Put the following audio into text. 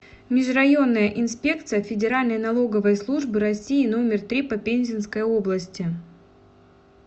межрайонная инспекция федеральной налоговой службы россии номер три по пензенской области